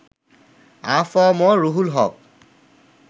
আ F M Ruhul হক